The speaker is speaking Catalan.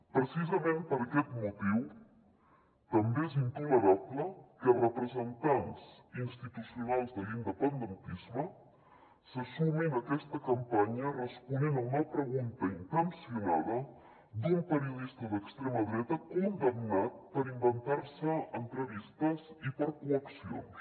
precisament per aquest motiu també és intolerable que representants institucionals de l’independentisme se sumin a aquesta campanya responent a una pregunta intencionada d’un periodista d’extrema dreta condemnat per inventar se entrevistes i per coaccions